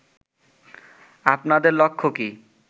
আপনাদের লক্ষ্য কী